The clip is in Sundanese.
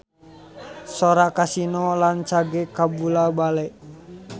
Sora Kasino rancage kabula-bale